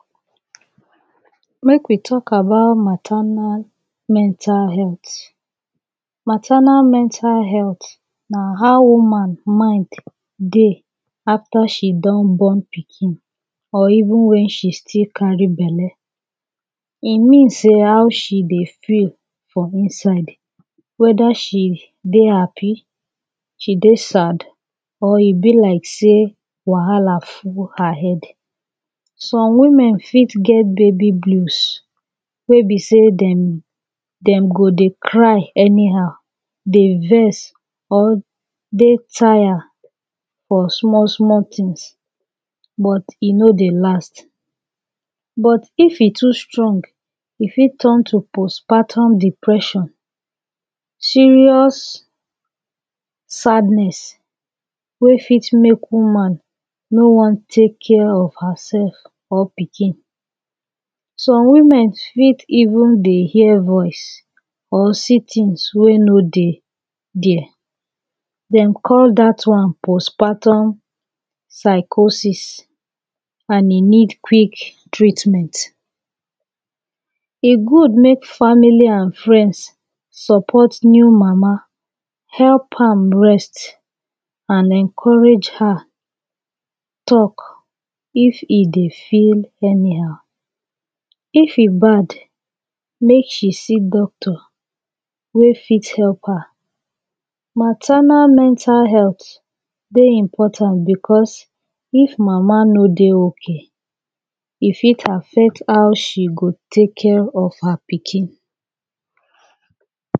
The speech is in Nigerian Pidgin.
Mek we talk about maternal mental healt. Maternal mental healt na how woman mind dey afta she don born pikin or evun wen she still carry belle e mean say how she dey feel for inside weda she dey happy she dey sad or e be like say wahala full her head some women fit get baby glues wey be say dem go dey cry anyhow dey vex or dey tired for small small tins but e no dey last but if e too strong e fit turn to postpartum depression serious sadness wey fit mek woman no wan tek care of hersef or pikin some woman fit evun dey hear voice or see tins wey no dey dia dem call dat one postpartum psychosis an e need quick treatment e good mek family an friends support new mama help am rest an encourage her talk if e dey feel anyhow if e bad mek she see doctor wey fit help her. Maternal mental healt dey important becoz of Mama no dey okay e fit affect how she go tek care of her pikin